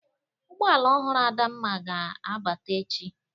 Ụgbọ ala ọhụrụ Adamma ga-abata echi.